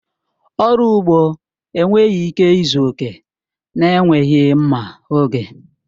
Ọrụ ugbo enweghị ike ịzu oke na-enweghị mma oge.